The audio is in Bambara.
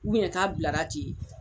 k'a bilara ten